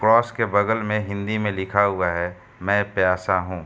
कोस के बगल में हिंदी में लिखा हुआ है मै प्यासा हूँ।